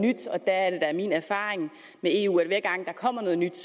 nyt der er det da min erfaring med eu at hver gang der kommer noget nyt